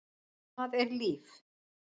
Hvað er líf?